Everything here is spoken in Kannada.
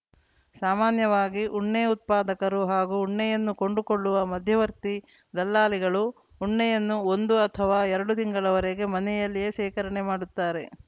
ಸಾಮಾನ್ಯವಾಗಿ ಉಣ್ಣೆ ಉತ್ಪಾದಕರು ಮತ್ತು ಉಣ್ಣೆಯನ್ನು ಕೊಂಡುಕೊಳ್ಳುವ ಮಧ್ಯವರ್ತಿ ದಲ್ಲಾಳಿಗಳು ಉಣ್ಣೆಯನ್ನು ಒಂದು ಅಥವಾ ಎರಡು ತಿಂಗಳವರೆಗೆ ಮನೆಯಲ್ಲಿಯೇ ಶೇಖರಣೆ ಮಾಡುತ್ತಾರೆ